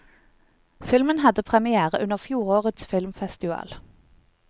Filmen hadde première under fjorårets filmfestival.